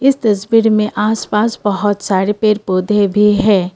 तस्वीर में आस पास बहौत सारे पेड़ पौधे भी है।